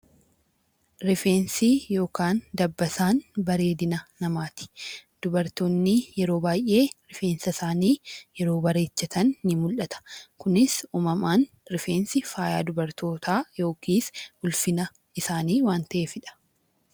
Rifeensi yookaan dabbasaan bareedina namaati. Dubaroonni yeroo baay'ee rifeensa isaanii yeroo bareechatan ni mul'ata. Kunis uumamaan rifeensi faaya dubartootaa yookiis ulfina isaanii waan ta'eefidha.